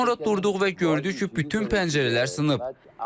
Sonra durduq və gördük ki, bütün pəncərələr sınıb.